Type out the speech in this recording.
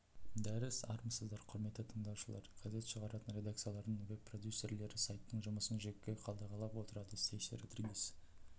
дәріс армысыздар құрметті тыңдаушылар газет шығаратын редакциялардың веб продюсерлері сайттың жұмысын жіті қадағалап отырады стэйси родригез